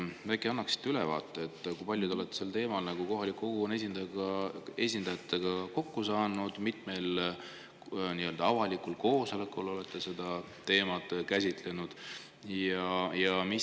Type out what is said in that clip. Äkki annaksite ülevaate, kui palju te olete sel teemal kohaliku kogukonna esindajatega kokku saanud ja mitmel avalikul koosolekul olete seda teemat käsitlenud?